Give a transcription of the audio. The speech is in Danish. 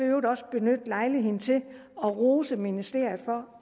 øvrigt også benytte lejligheden til at rose ministeriet for